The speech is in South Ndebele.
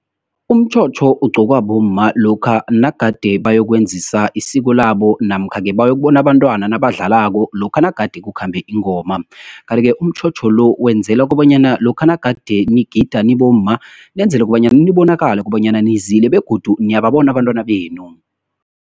Umtjhotjho ugqokwa bomma, lokha nagade bayokwenzisa isiko labo, namkha-ke bayokubona abantwana nabadlalako lokha nagade kukhambe ingoma. Kanti -ke, umtjhotjho lo, wenzela kobanyana lokha nagade nigida nibomma, nenzela kobanyana nibonakale kobanyana nizile, begodu niyababona abantwana benu.